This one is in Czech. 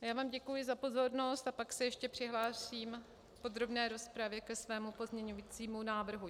Já vám děkuji za pozornost a pak se ještě přihlásím v podrobné rozpravě ke svému pozměňovacímu návrhu.